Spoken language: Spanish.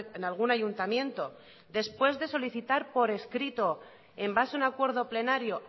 en algún ayuntamiento después de solicitar por escrito en base a un acuerdo plenario